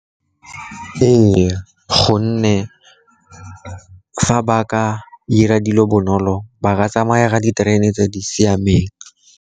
Ee, gonne fa ba ka ira dilo bonolo, ba ka tsamaya ka diterene tse di siameng.